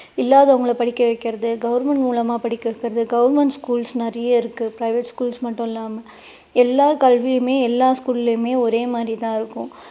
இல்லாதவங்களை படிக்க வைக்கிறது government மூலமா படிக்க வைக்கிறது government schools நிறைய இருக்கு private schools மட்டும் இல்லாம. எல்லா கல்வியுமே எல்லா school லயும் ஓரே மாதிரி தான் இருக்கும்